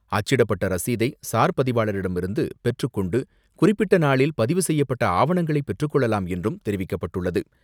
அச்சிடப்பட்ட ரசீதை சார் பதிவாளரிடமிருந்து பெற்றுக்கொண்டு, குறிப்பிட்ட நாளில் பதிவு செய்யப்பட்ட ஆவணங்களை பெற்றுக்கொள்ளலாம் என்றும் தெரிவிக்கப்பட்டுள்ளது.